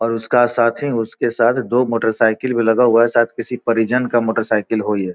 और उसका साथी उसके साथ दो मोटरसाइकिल भी लगा हुआ है साद किसी परिजन का मोटरसाइकिल हो ये।